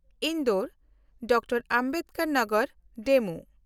Indore Dr Ambedkar Nagar DEMU